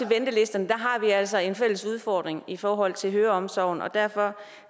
ventelisterne har vi altså en fælles udfordring i forhold til høreomsorgen og derfor